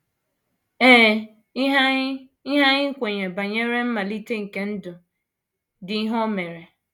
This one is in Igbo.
Ee, ihe anyị ihe anyị kweere banyere mmalite nke ndụ dị ihe o mere!